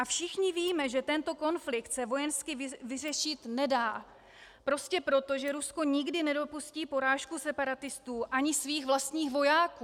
A všichni víme, že tento konflikt se vojensky vyřešit nedá prostě proto, že Rusko nikdy nedopustí porážku separatistů ani svých vlastních vojáků.